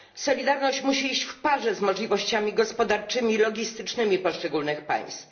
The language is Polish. Solidarność musi iść w parze z możliwościami gospodarczymi i logistycznymi poszczególnych państw.